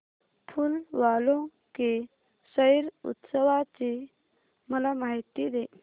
फूल वालों की सैर उत्सवाची मला माहिती दे